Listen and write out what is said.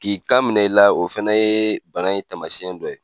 K'i kan minɛ i la o fɛnɛ ye bana in ye taamasiyɛn do ye.